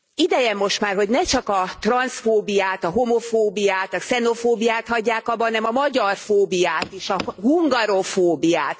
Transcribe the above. Ideje most már, hogy ne csak a transzfóbiát, a homofóbiát, a xenofóbiát hagyják abba, hanem a magyarfóbiát is, a hungarofóbiát.